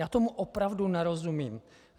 Já tomu opravdu nerozumím.